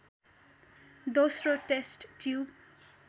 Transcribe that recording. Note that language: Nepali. दोश्रो टेष्ट ट्युब